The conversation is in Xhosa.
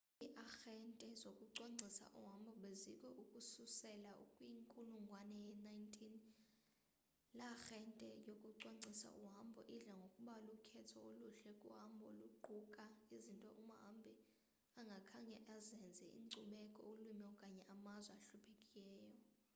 iiarhente zokucwangcisa uhambo bezikho ukususela kwinkulungwane ye-19 iarhente yokucwangcisa uhambo idla ngokuba lukhetho oluhle kuhambo oluquka izinto umhambi angakhange azenze inkcubeko ulwimi okanye amazwe ahluphekayo